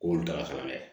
O y'olu taara kalan kɛ